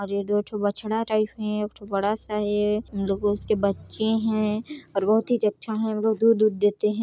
और ये दो ठो बछड़ा टाइप में है एक ठो बड़ा सा है दो गो उसके बच्चे हैं और बहुत ही अच्छा वो दूध उध देते हैं।